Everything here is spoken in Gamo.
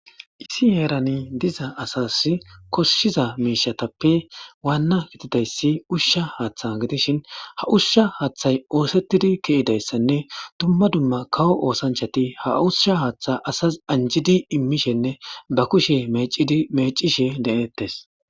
isi heerani diza asas koshshiza miishatappe waanna gitidayssi ushsha haaththa gidishin ha ushsha haaththay oosettidi ke7idayssanne tumma dumma kawo oosanchati ha ushsha haaththa asas anjidi immishenne ba kushe mecishe de7ettes